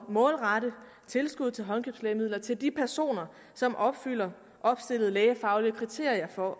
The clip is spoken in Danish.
målrette tilskuddet til håndkøbslægemidler til de personer som opfylder opstillede lægefaglige kriterier for